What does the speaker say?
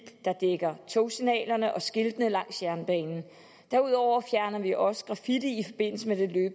der dækker togsignaler og skilte langs jernbanen derudover fjerner vi også graffiti